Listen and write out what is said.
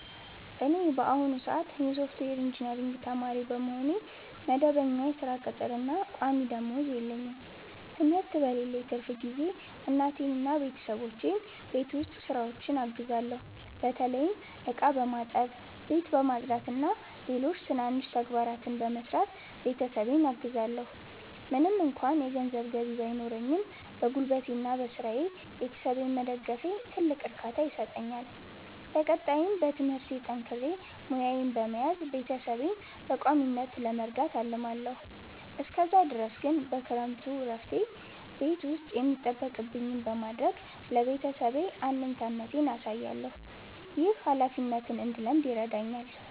እኔ በአሁኑ ሰአት የሶፍትዌር ኢንጂነሪንግ ተማሪ በመሆኔ፣ መደበኛ የሥራ ቅጥርና ቋሚ ደመወዝ የለኝም። ትምህርት በሌለኝ ትርፍ ጊዜ እናቴንና ቤተሰቦቼን በቤት ውስጥ ሥራዎች አግዛለሁ። በተለይም ዕቃ በማጠብ፣ ቤት በማጽዳትና ሌሎች ትናንሽ ተግባራትን በመስራት ቤተሰቤን አግዛለዎ። ምንም እንኳ የገንዘብ ገቢ ባይኖረኝም፣ በጉልበቴና በሥራዬ ቤተሰቤን መደገፌ ትልቅ እርካታ ይሰጠኛል። በቀጣይም በትምህርቴ ጠንክሬ ሙያዬን በመያዝ ቤተሰቤን በቋሚነት ለመርዳት አልማለዎ። እስከዛ ድረስ ግን በክረምቱ እረፍቴ ቤት ውስጥ የሚጠበቅብኝን በማድረግ ለቤተሰቤ አለኝታነቴን አሳያለሁ። ይህ ኃላፊነትን እንድለምድ ይረዳኛል።